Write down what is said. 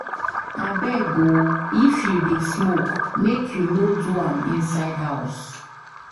Abeg o if you dey smoke, make you no do am inside house.